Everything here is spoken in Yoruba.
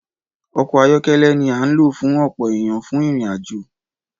Ọkọ ayọkẹlẹ ni a n lo fún ọpọ ènìyàn fún ìrìn àjò